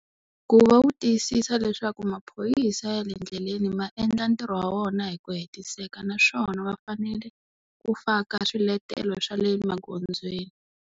Ku va wu tiyisisa leswaku maphorisa ya le ndleleni ma endla ntirho wa wona hi ku hetiseka naswona va fanele, ku faka swiletelo swa le magondzweni.